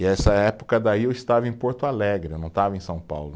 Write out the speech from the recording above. E essa época daí eu estava em Porto Alegre, não estava em São Paulo.